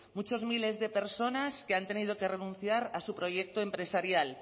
muchas miles de personas que han tenido que renunciar a su proyecto empresarial